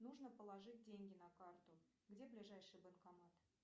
нужно положить деньги на карту где ближайший банкомат